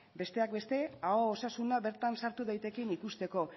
besteak beste aho osasuna bertan sartu daitekeen ikusteko